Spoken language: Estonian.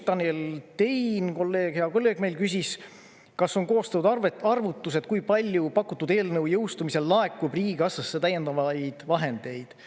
Tanel Tein, kolleeg, hea kolleeg meil küsis, kas on koostatud arvutused, kui palju pakutud eelnõu jõustumisel laekub riigikassasse täiendavaid vahendeid.